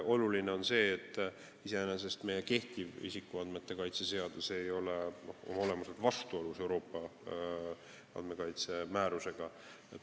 Oluline on see, et iseenesest ei ole meie kehtiv isikuandmete kaitse seadus oma olemuselt vastuolus Euroopa Liidu andmekaitse määrusega.